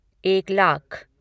एक लाख